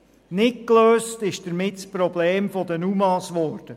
Nicht gelöst wurde dadurch das Problem mit den UMA.